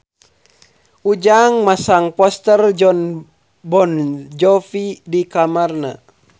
Ujang masang poster Jon Bon Jovi di kamarna